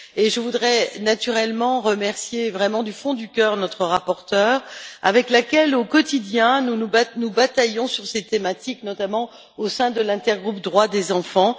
Je voudrais naturellement remercier, vraiment du fond du cœur, notre rapporteure avec laquelle nous bataillons, au quotidien, sur ces thématiques, notamment au sein de l'intergroupe Droits des enfants.